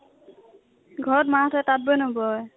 ঘৰ ত মাঁ হতেঁ তাতঁ বৈ নবৈ ?